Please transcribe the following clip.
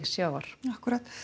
sjávar akkúrat